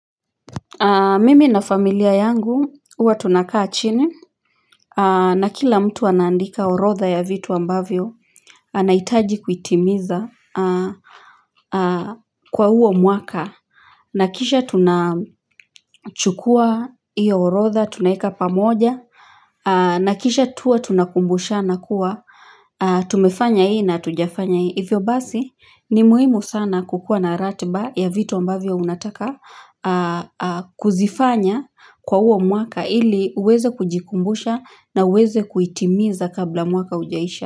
Mimi na familia yangu, huwa tunakaa chini, na kila mtu anandika orodha ya vitu ambavyo, anaitaji kuitimiza kwa huo mwaka, na kisha tunachukua iyo orodha, tunaeka pamoja, na kisha tuwa tunakumbusha na kuwa, tumefanya hii na tujafanya hii. Ivyo basi ni muhimu sana kukua na ratiba ya vitu ambavyo unataka kuzifanya kwa huo mwaka ili uweze kujikumbusha na uweze kuitimiza kabla mwaka haujaisha.